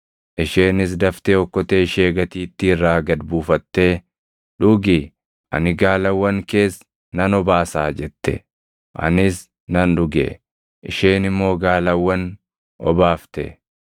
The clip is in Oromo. “Isheenis daftee okkotee ishee gatiittii irraa gad buufattee, ‘Dhugi; ani gaalawwan kees nan obaasaa’ jette. Anis nan dhuge; isheen immoo gaalawwan obaafte.